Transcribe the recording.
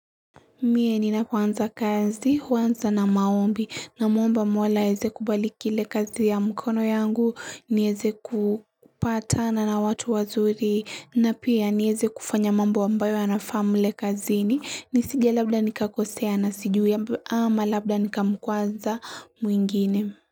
Mie ni na kwanza kazi, kwanza na maombi, na mwomba mwola heze kubali kile kazi ya mkono yangu, ni heze kupata na na watu wazuri, na pia ni heze kufanya mambo ambayo na family kazi ni, ni sija labda nikakosea na sijuye ama labda nikamkwanza mwingine.